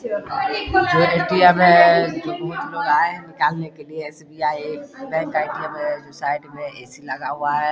जो ए.टी.एम. है बहुत लोग आए है निकालने के लिए एस.बी.आ.ई बैंक ए.टी.एम. है जो साइड में ए.सी. लगा हुआ है ।